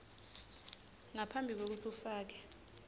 ngaphambi kwekutsi ufake